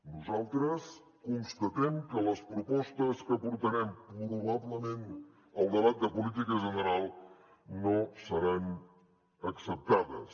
nosaltres constatem que les propostes que portarem probablement al debat de política general no seran acceptades